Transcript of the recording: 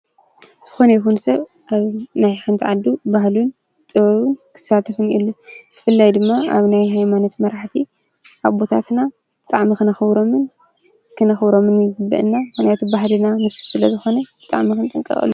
ዝኸነ ይኹን ሰብ ኣብ ናይ ሓንቲ ዓዱ ባህልን ጥበብን ክሳተፍ እኒሄሉ ብፍላይ ድማ ኣብ ናይ ሃይማኖት መራሕቲ አቦታትና ብጣዕሚ ክነኽብሮምን ይግበአና ምኽንያቱም ባህልና ንሱ ስለ ዝኮነ ብጣዕሚ ክንጥንቀቐሉ ይግባእ።